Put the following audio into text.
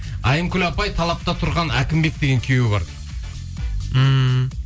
аймкүл апай талапта тұрған әкімбек деген күйеуі бар ммм